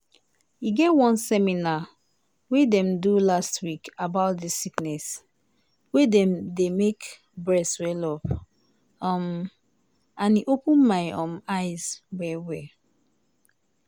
e get one seminar wey dem do last week about dis sickness wey dey make breast swell-up um and e open my um eyes well well.